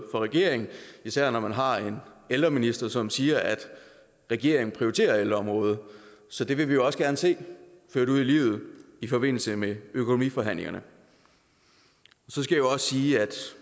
regeringen især når man har en ældreminister som siger at regeringen prioriterer ældreområdet så det vil vi også gerne se ført ud i livet i forbindelse med økonomiforhandlingerne så skal jeg også sige